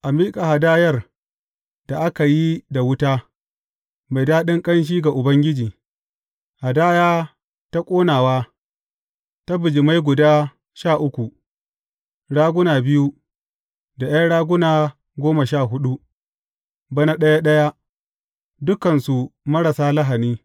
A miƙa hadayar da aka yi da wuta, mai daɗin ƙanshi ga Ubangiji, hadaya ta ƙonawa ta bijimai guda sha uku, raguna biyu, da ’yan raguna goma sha huɗu, bana ɗaya ɗaya, dukansu marasa lahani.